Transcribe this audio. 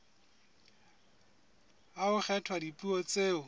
ha ho kgethwa dipuo tseo